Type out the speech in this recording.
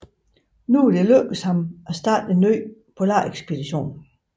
Nu var det lykkedes ham at starte en ny polarekspedition